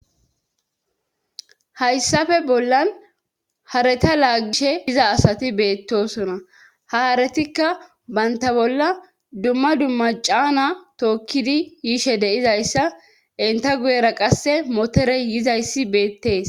haysappe bollan hareta laagishe diza asati beettosona haharetikka baynta bolla dumma dumma caana tookkidi yiishe deizayssa inta guyera qasse motorey yizayssi beettees